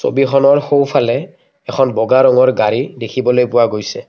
ছবিখনৰ সোঁফালে এখন বগা ৰঙৰ গাড়ী দেখিবলৈ পোৱা গৈছে।